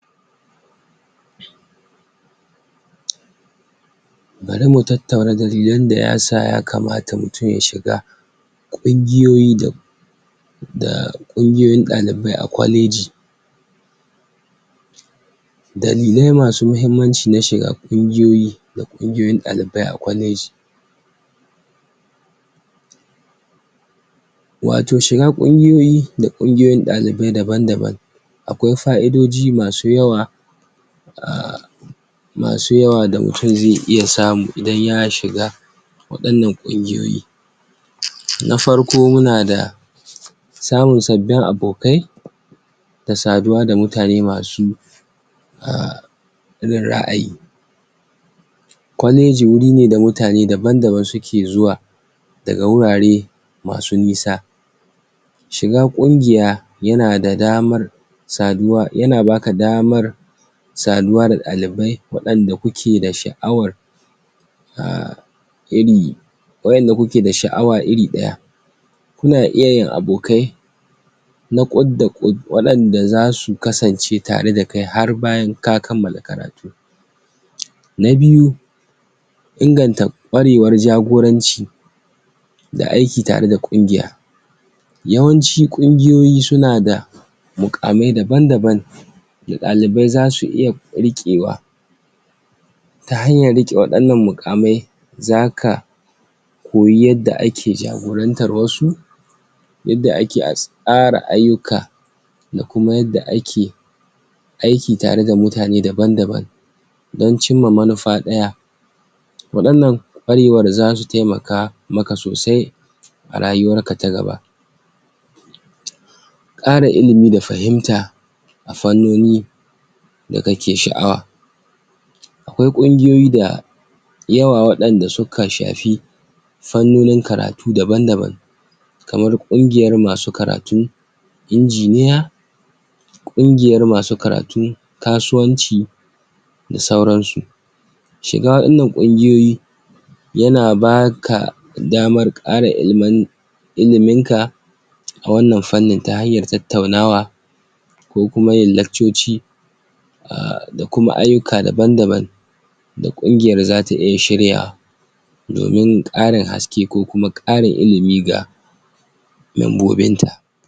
dalilin da ya sa tafiya ke da mahimmanci tafiya abuce mai matukan mahimmanci a rayuwan dan adam da kuma al'umma baki daya tafiya ta na da kaidoji da yawa wayan da suka shafi bangarori da ban, da ban na rayuwan mu ga wasu da ga cikin muhimmai dalilin da yasa suka dalilin da suka sa tafiya ke da matukan anfani ko kuma mahimmanci na farko akwai karin ilimi da fahimta lokacin da mutun yayi tafiya zuwa hurare da-ban da-ban yana samun damar ganin sabin al'adu sabbin hanyoyin rayuwa, da kuma sabbin hurare masu ban mamaki wan nan yana taimakawa wajen fadada tunanin sa da kuma kara masa ilimi game da duniya da mutanen da ke cikin ta yana koyar yadda wasu ke rayuwa ta sanin abin cin su harshen su da kuma al'adun su wan nan kwarewan kai tsaye tanada kima sosai fiye da karin ta karanta ta kawai a cikin littafi na biyu kwarewar kai tafiya tana kalubalantan mutun ta hanyoyi da ban, da ban yana iya bukatan mutun ya fita daga yankin sa na jin dadi ya fiskanci sabbin yanayi kuma ya warware ya warware matsaloli, matsaloli da kansa wan nan yana taimakawa wajen gida karshen zuciya da kuma habbaka, barewar yanke shawara kwarewan da mutun ya samu a lokacin tafiya na iya zama ko kuma ya zame masa abu mai anfani sauran farnonin rayuwar sa sai kuma na uku, karfafa alaka, da kuma zumunci tafiya tare da iyali abokai koma sabbin mutane da mutun ya hadu dasu a hanya da su a hanya, na iya karfafa, alaka da kuma zumunci wan nan sune kadan daga cikin muhimman abubuwa da mutun ke ilmantuwa da su a lokacin tafiya